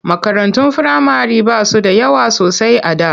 Makarantun firamare ba su da yawa sosai a da.